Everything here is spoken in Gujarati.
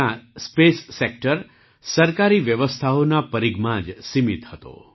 ભારતમાં પહેલાં સ્પેસ સેક્ટર સરકારી વ્યવસ્થાઓના પરીઘમાં જ સીમિત હતો